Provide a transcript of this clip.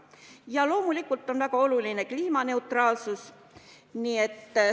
Ja loomulikult on väga oluline kliimaneutraalsus.